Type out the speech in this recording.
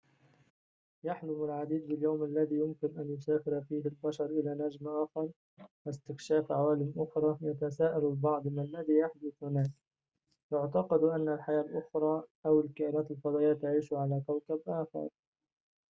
يحلم العديد باليوم الذي يمكن أن يسافر فيه البشر إلى نجم آخر واستكشاف عوالم أخرى يتساءل البعض ما الذي يحدث هناك يُعتقد أن الحياة الأخرى أو الكائنات الفضائية تعيش على كوكب آخر